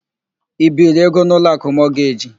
I biiri ego n' Ụlọakụ Mọgeji?